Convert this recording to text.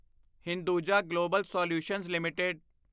Hinduja global solutions LTD